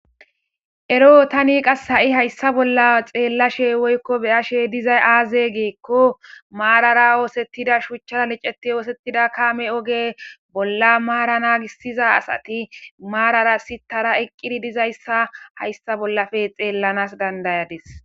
Ero tani qas ha7i hayssa bolla xeellashe woykko beyashe dizay aaze geekko maarara oosettida shuchcha liceti oosettida kaame oge bolla maara naagissiza asati maarara sitara eqqiri dizayssa hayssa bollafe xeellanas dandayadis.